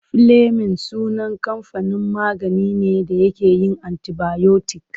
Filemin sunan kamfanin magani ne da yake yin antibayotik.